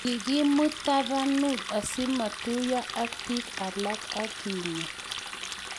kikimut tabanut asimatuiyo ak biik alak akenyaa